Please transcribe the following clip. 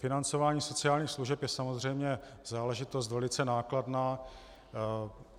Financování sociálních služeb je samozřejmě záležitost velice nákladná.